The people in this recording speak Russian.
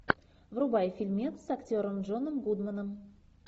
врубай фильмец с актером джоном гудманом